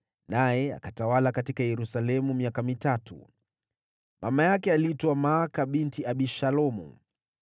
naye akatawala huko Yerusalemu miaka mitatu. Mama yake aliitwa Maaka binti Abishalomu.